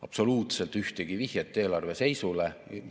Absoluutselt mitte ühtegi vihjet eelarve seisule.